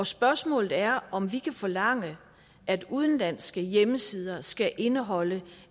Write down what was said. spørgsmålet er om vi kan forlange at udenlandske hjemmesider skal indeholde